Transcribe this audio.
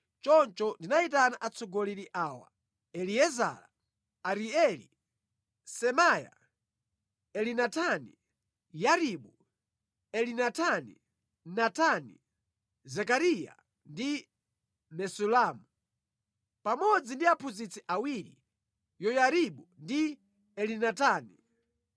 Choncho ndinayitana atsogoleri awa: Eliezara, Arieli, Semaiya, Elinatani, Yaribu, Elinatani, Natani, Zekariya ndi Mesulamu, pamodzi ndi aphunzitsi awiri, Yoyaribu ndi Elinatani,